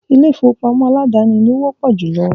ilé-ìfowópamọ́ aládàáni lo wọ́pọ̀ júlọ.